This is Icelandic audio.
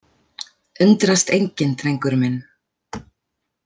Undrast enginn, drengur minn.